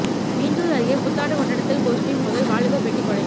மீஞ்சூர் அருகே புத்தாண்டு கொண்டாட்டத்தில் கோஷ்டி மோதல் வாலிபர் வெட்டி கொலை